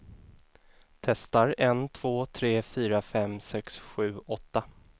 Testar en två tre fyra fem sex sju åtta.